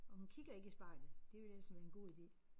Og hun kigger ikke i spejlet det ville ellers være en god ide